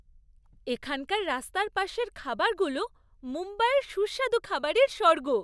এখানকার রাস্তার পাশের খাবারগুলো মুম্বাইয়ের সুস্বাদু খাবারের স্বর্গ।